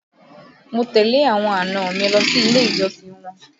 Mo tẹ̀lé àwọn àna mi lọ sí ilé ìjọsìn wọn